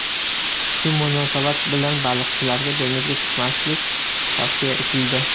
Shu munosabat bilan baliqchilarga dengizga chiqmaslik tavsiya etildi.